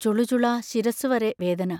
ചുളുചുളാ ശിരസ്സുവരെ വേദന..